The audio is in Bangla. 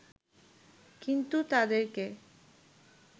কিন্তু তাদেরকে